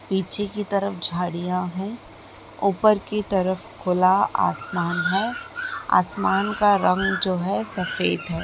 पीछे की तरफ झाड़ियां है। ऊपर की तरफ खुला आसमान है। आसमान का रंग जो है सफेद है।